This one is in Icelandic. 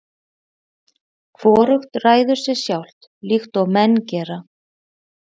Hvorugt ræður sér sjálft, líkt og menn gera.